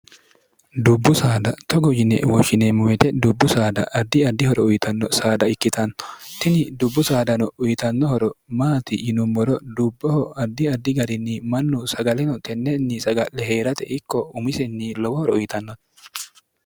dubbu saada togo yine woshshineemmuwete dubbu saada addi addihoro uyitanno saada ikkitanno tini dubbu saadano uyitannohoro maati yinummoro dubboho addi addi garinni mannu sagaleno tennenni saga'le hee'rate ikko umisinni lowohoro uyitannote